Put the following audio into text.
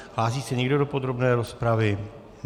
Hlásí se někdo do podrobné rozpravy?